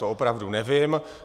To opravdu nevím.